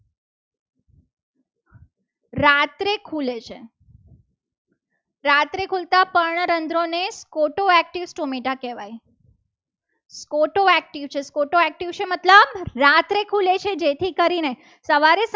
રાત્રે ખુલે છે. રાત્રે ખુલે છે. રાત્રે ખોલતા પણ રંધ્રોને scoto active tomecha કહેવાય. scoto active છે. scoto active મતલબ રાત્રે ખુલે છે જેથી કરીને સવારે